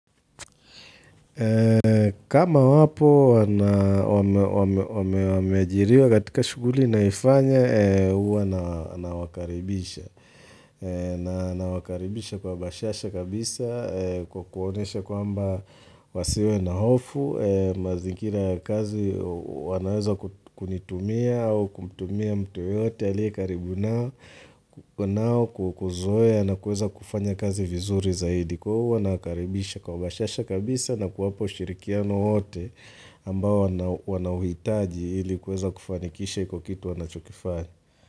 Kama wapo wamejiriwa katika shughuli ninayoifanya uwa na wakaribisha. Na wakaribisha kwa basiasha kabisa kukuonesha kwamba wasiwe na hofu magikira ya kazi wanaweza kunitumia au kumtumia mtu yoyote alie karibu nao kukuzoea na kuweza kufanya kazi vizuri zaidi. Kuhu wanakaribisha kwa bashasha kabisa na kuwapo shirikiano wote ambao wanawitaji ilikuweza kufanikisha kwa kitu wanachokifani.